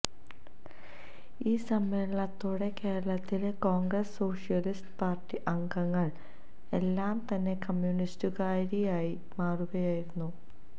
ഈ സമ്മേളനത്തോടെ കേരളത്തിലെ കോൺഗ്രസ് സോഷ്യലിസ്റ്റ് പാർട്ടി അംഗങ്ങൾ എല്ലാം തന്നെ കമ്യുണിസ്റ്റുകാരായി മാറുകയായിരുന്നു